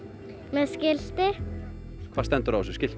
með skilti hvað stendur á þessu skilti